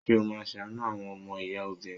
Ṣé́ ó máa ṣàánú àwọn ọmọ ìyá obìnrin?